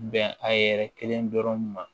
Bɛn a yɛrɛ kelen dɔrɔn ma